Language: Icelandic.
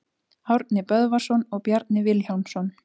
Árni Böðvarsson og Bjarni Vilhjálmsson.